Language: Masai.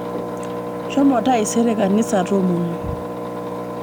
shomo taisere kanisa tomono